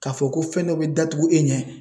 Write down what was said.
K'a fɔ ko fɛn dɔ be datugu e ɲɛ